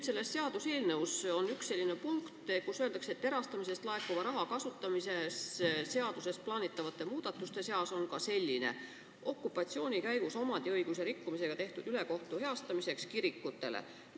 Selles seaduseelnõus on aga üks selline punkt, kus öeldakse, et erastamisest laekuva raha kasutamise seaduses plaanitavate muudatuste seas on ka selline, et okupatsiooni käigus omandiõiguse rikkumisega tehtud ülekohus tuleb meil kirikutele heastada.